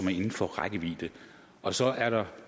er inden for rækkevidde og så er der